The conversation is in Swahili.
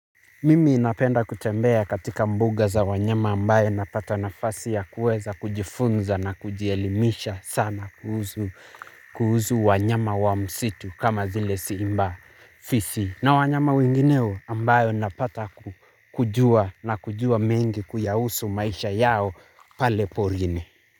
Mimi napenda kutembea katika mbuga za wanyama ambaye napata nafasi ya kuweza kujifunza na kujielimisha sana kuhusu wanyama wa msitu kama vile simba fisi. Na wanyama wengineo ambayo napata kujua na kujua mengi kuyahusu maisha yao pale porini.